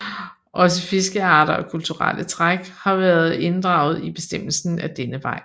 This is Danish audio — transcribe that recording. Også fiskearter og kulturelle træk har været inddraget i bestemmelsen ad denne vej